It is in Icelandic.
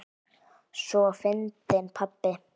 Svo fyndinn pabbi!